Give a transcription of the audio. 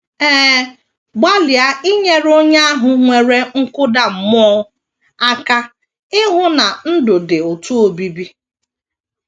Ee, gbalịa inyere onye ahụ nwere nkụda mmụọ aka ịhụ na ndụ dị ụtọ obibi.